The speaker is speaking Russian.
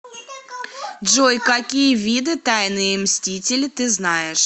джой какие виды тайные мстители ты знаешь